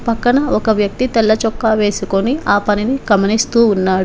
పక్కన ఒక వ్యక్తి తెల్ల చొక్కా వేసుకొని ఆ పనిని కమనిస్తూ ఉన్నాడు.